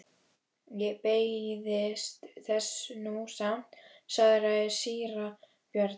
Ég beiðist þess nú samt, svaraði síra Björn.